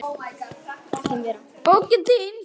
Bókin þín,